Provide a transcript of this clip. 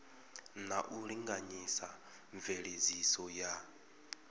na u linganyisa mveledziso ya